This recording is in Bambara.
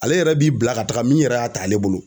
Ale yɛrɛ b'i bila ka taga min yɛrɛ y'a ta ale bolo